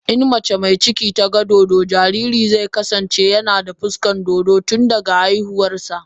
idan mace mai ciki ta ga dodo, jaririnta zai kasance yana da fuskar dodo tun daga haihuwa.